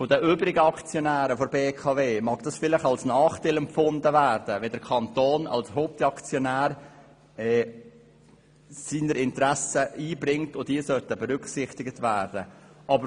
Von den übrigen Aktionären der BKW mag es vielleicht als Nachteil empfunden werden, wenn der Kanton als Hauptaktionär seine Interessen einbringt und diese berücksichtigt werden sollen.